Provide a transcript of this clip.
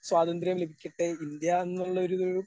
സ്വാതന്ത്ര്യം ലഭിക്കട്ടെ ഇന്ത്യ എന്നുള്ള ഒരു ഇത്.